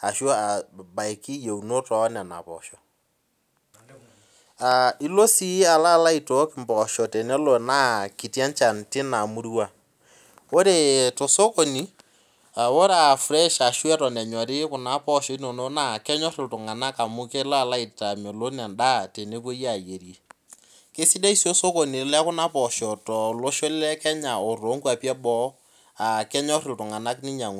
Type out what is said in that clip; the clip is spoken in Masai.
ashu abaiki iyieunot oonena poosho Ilo sii alo alalo aitook imboosho tenelo naa kiti enchan tina murua Ore tosokoni , ore afresh ashu eton enyori kuna poosho inonok naa kenyor iltunganak amu kelo alo aitamelon endaa tenepuoi ayierie Kasidai sii osokoni lekuna poosho tolosho le Kenya oo toongwapi eboo aa kenyor iltung'anak ninyang'u